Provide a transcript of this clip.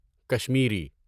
Kashmiri